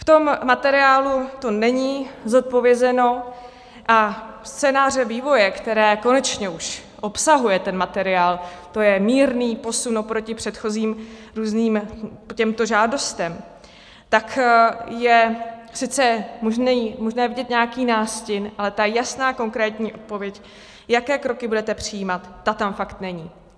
V tom materiálu to není zodpovězeno a scénáře vývoje, které konečně už obsahuje ten materiál, to je mírný posun oproti předchozím různým těmto žádostem, tak je sice možné vidět nějaký nástin, ale ta jasná konkrétní odpověď, jaké kroky budete přijímat, ta tam fakt není.